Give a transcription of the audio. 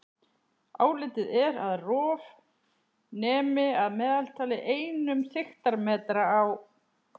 Álitið er að rof nemi að meðaltali einum þykktarmetra á